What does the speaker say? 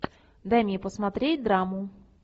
дай мне посмотреть драму